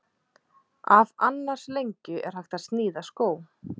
Af annars lengju er hægt að sníða skó.